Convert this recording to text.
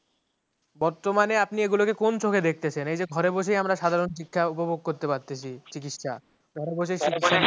বর্তমানে আপনি এইগুলাকে কোন চোখে দেখতেছেন এই যে ঘরে বসেই আমরা সাধারণ শিক্ষা উপভোগ করতে পারতেছি চিকিৎসা